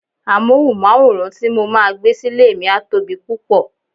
Amohunmaworan ti mo máa gbé sile mi a tóbi púpò.